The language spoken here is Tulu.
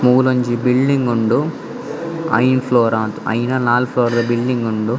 ಮೂಲೊಂಜಿ ಬಿಲ್ಡಿಂಗ್ ಉಂಡು ಐನ್ ಫ್ಲೋರಾಂದ್ ಐನಾ ನಾಲ್ ಫ್ಲೋರ್ ಬಿಲ್ಡಿಂಗ್ ಉಂಡು.